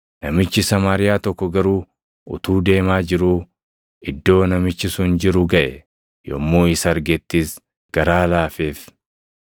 Namichi Samaariyaa tokko garuu utuu deemaa jiruu iddoo namichi sun jiru gaʼe; yommuu isa argettis garaa laafeef.